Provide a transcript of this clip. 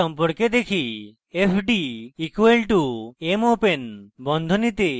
fd = mopen বন্ধনীতে filename comma mode